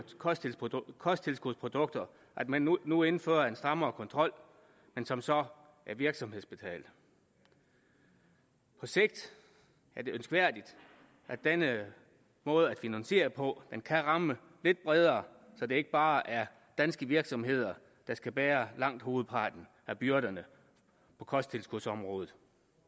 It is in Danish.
kosttilskudsprodukter at man nu indfører en strammere kontrol som så er virksomhedsbetalt på sigt er det ønskværdigt at denne måde at finansiere på kan ramme lidt bredere så det ikke bare er danske virksomheder der skal bære langt hovedparten af byrderne på kosttilskudsområdet